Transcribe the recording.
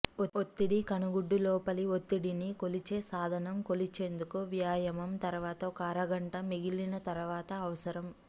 ఒత్తిడి కన్నుగుడ్డు లోపలి ఒత్తిడిని కొలిచే సాధనం కొలిచేందుకు వ్యాయామం తర్వాత ఒక అరగంట మిగిలిన తర్వాత అవసరం